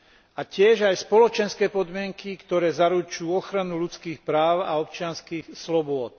A tiež aj spoločenské podmienky, ktoré zaručujú ochranu ľudských práv a občianskych slobôd.